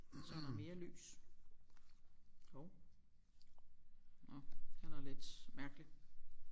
Så er der mere lys hov nåh den er lidt mærkelig